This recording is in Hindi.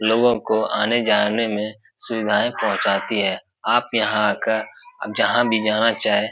लोगों को आने-जाने में सुविधाएं पहुंचाती हैं आप यहां आकर जहां भी जाना चाहे --